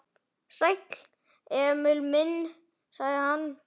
Sæll, Emil minn, sagði hann.